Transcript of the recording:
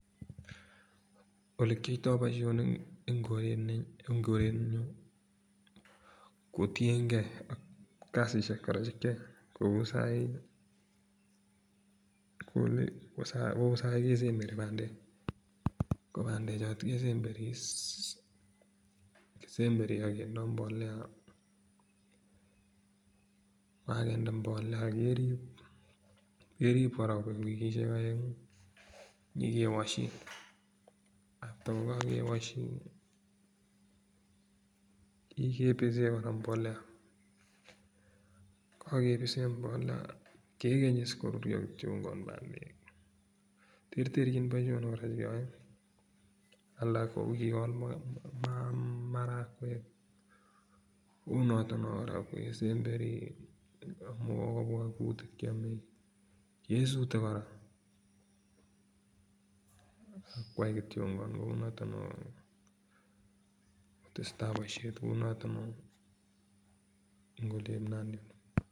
olekyoito boisionik en korenyun kotiengee kasisiek kora chekyoe kou sai kesemberi bandek ko bandechoto kesemberi akindoo mbolea akakinde mbolea kerip kora kobek wikisiek aeng'u inyokewoshi after kokokewoshi inyokibisen kora mbolea kekeny iis korurio kityok terterchin kora boisionik chekeyoe alak kouyon marakwek kounotok noo kora kesemberi amuch kobwa kutik kesutet kora akwaikityok kou noto non tesetai boisiet kou notok noo eng oliep nandi.